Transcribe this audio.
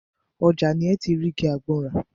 Ọjà ni ẹ́ ti rí igi àgbọn rà.